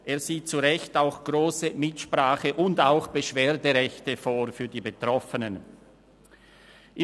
Er sieht zu Recht grosse Mitsprache- und auch Beschwerderechte für die Betroffenen vor.